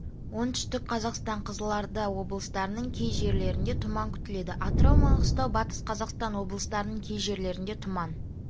оңтүстік қазақстан қызылорда облыстарының кей жерлерінде тұман күтіледі атырау маңғыстау батыс қазақстан облыстарының кей жерлерінде тұман